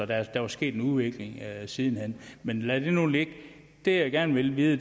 der var sket en udvikling siden hen men lad det nu ligge det jeg gerne vil vide